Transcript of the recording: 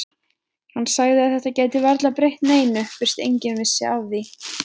Hann sagði að þetta gæti varla breytt neinu fyrst enginn vissi af því.